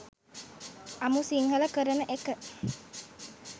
අමු සිංහල කරන එක